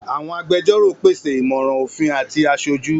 Àwọn agbẹjọ́rò pèsè ìmọ̀ràn òfin àti aṣojú.